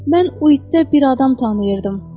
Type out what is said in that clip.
Mən o itdə bir adam tanıyırdım.